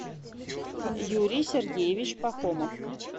юрий сергеевич пахомов